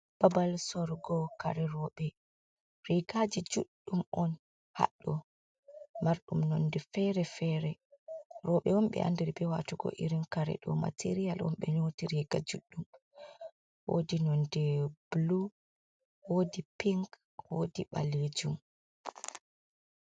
Babal sorugo kare roɓe. Rigaji juɗɗum on haɗɗo marɗum nonde fere-fere. Roɓe on ɓe andiri be watugo irin kare ɗo. Material on ɓe nyoti riga juɗɗum wodi nonde bulu, wodi pink, wodi ɓalejum.